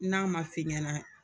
N'a man f'i ɲɛna